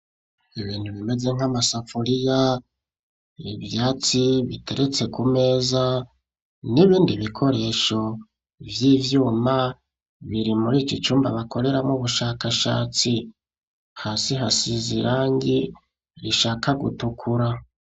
Ibintu, bimeze nk'amasafuriya, ivyatsi, biteretse ku meza, n'ibindi bikoresho, vy'ivyuma, biri muri iki cumba, bakoreramwo ubushakashatsi; hasi hasize irangi, rishaka gutukura.